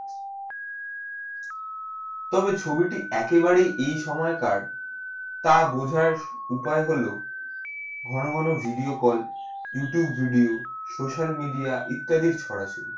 তবে ছবি টি এক ই বারে এই সময়ে কার তা বোঝা উপায় হলো ঘন ঘন video call youtube video social media ইত্যাদির ছড়াছড়ি।